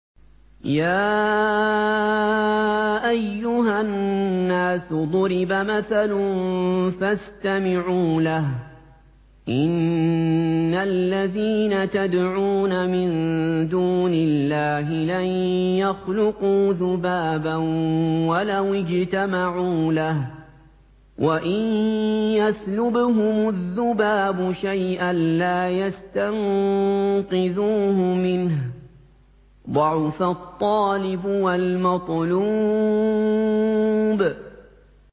يَا أَيُّهَا النَّاسُ ضُرِبَ مَثَلٌ فَاسْتَمِعُوا لَهُ ۚ إِنَّ الَّذِينَ تَدْعُونَ مِن دُونِ اللَّهِ لَن يَخْلُقُوا ذُبَابًا وَلَوِ اجْتَمَعُوا لَهُ ۖ وَإِن يَسْلُبْهُمُ الذُّبَابُ شَيْئًا لَّا يَسْتَنقِذُوهُ مِنْهُ ۚ ضَعُفَ الطَّالِبُ وَالْمَطْلُوبُ